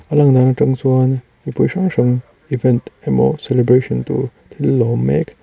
a lang dan a tang chuan mipui hrang hrang event emaw celebration tur thil lawm mek--